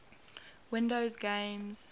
windows games